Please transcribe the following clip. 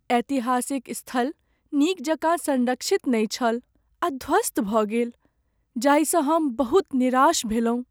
ऐतिहासिक स्थल नीक जकाँ सँरक्षित नहि छल आ ध्वस्त भऽ गेल जाहिसँ हम बहुत निराश भेलहुँ।